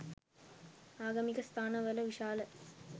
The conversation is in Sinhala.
ආගමික ස්ථාන වල විශාල